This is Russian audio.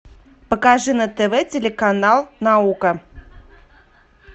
покажи на тв телеканал наука